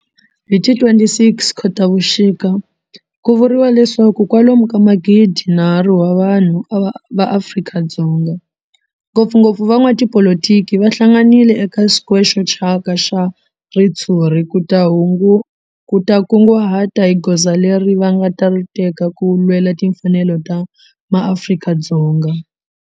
Hi ti 26 Khotavuxika ku vuriwa leswaku kwalomu ka magidinharhu wa vanhu va Afrika-Dzonga, ngopfungopfu van'watipolitiki va hlanganile eka square xo thyaka xa ritshuri ku ta kunguhata hi goza leri va nga ta ri teka ku lwela timfanelo ta maAfrika-Dzonga.